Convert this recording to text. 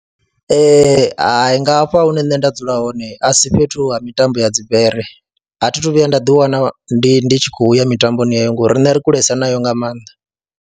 Ee, hai nga hafha hune nṋe nda dzula hone a si fhethu ha mitambo ya dzi bere, a thi thu vhuya nda ḓiwana ndi ndi tshi khou ya mitamboni heyo ngori riṋe ri kulesa nayo nga maanḓa.